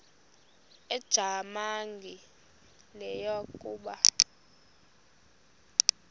ujamangi le yakoba